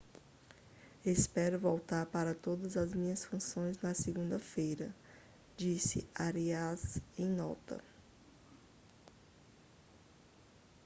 espero voltar para todas as minhas funções na segunda-feira disse arias em nota